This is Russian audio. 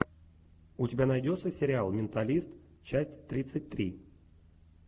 у тебя найдется сериал менталист часть тридцать три